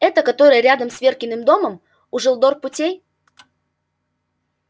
эта которая рядом с веркиным домом у желдор путей